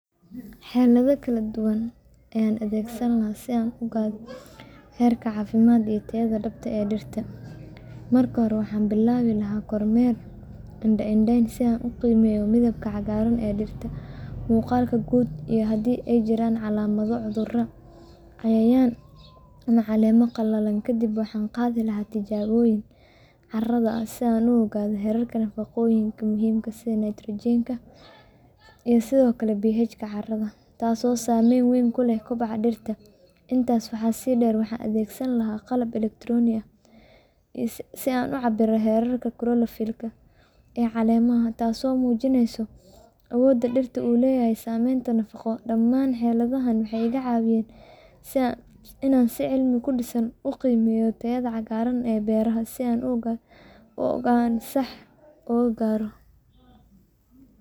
Xeelado kala duwan ayaad adeegsan lahayd si aad u ogaato heerka caafimaad iyo tayada dhabta ah ee dhirta. Marka hore, waxaad bilaabi lahayd kormeer indho-indhayn ah si aad u qiimeyso midabka cagaaran ee dhirta, muuqaalka guud, iyo haddii ay jiraan calaamado cudurro, cayayaan ama caleemo qalalay. Kadib, waxaad qaadi lahayd tijaabooyin carrada ah si aad u ogaato heerarka nafaqooyinka muhiimka ah sida nitrogen, phosphorus iyo potassium, iyo sidoo kale pH-ga carrada, taasoo saameyn weyn ku leh kobaca dhirta. Intaas waxaa sii dheer, waxaad adeegsan lahayd qalab elektaroonig ah sida chlorophyll meter si aad u cabirto heerka chlorophyll ee caleemaha, taasoo muujinaysa awoodda dhirtu u leedahay samaynta nafaqo . Dhamaan xeeladahani waxay kaa caawinayaan inaad si cilmi ku dhisan u qiimeyso tayada cagaarka beeraha si go’aanno sax ah loo gaaro.